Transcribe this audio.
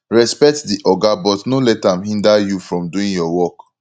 respect di oga but no let am hinder you from doing your work